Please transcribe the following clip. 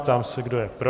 Ptám se, kdo je pro.